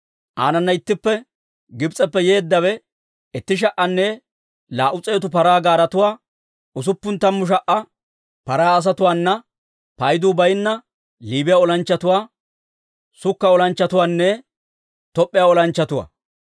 Aanana ittippe Gibs'eppe yeeddawe itti sha"anne laa"u s'eetu paraa gaaretuwaa, usuppun tammu sha"a paraa asatuwaana paydu baynna Liibiyaa olanchchatuwaa, Sukka olanchchatuwaanne Top'p'iyaa olanchchatuwaa.